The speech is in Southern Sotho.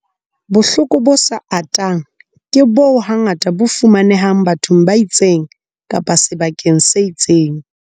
Bohloko bo sa atang ke boo hangata bo fumanehang bathong ba itseng kapa sebakeng se itseng feela.